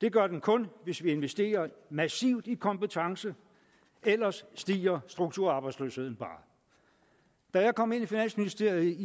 det gør den kun hvis vi investerer massivt i kompetence ellers stiger strukturarbejdsløsheden bare da jeg kom ind i finansministeriet i